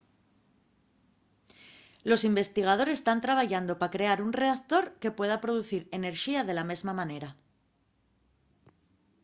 los investigadores tán trabayando pa crear un reactor que pueda producir enerxía de la mesma manera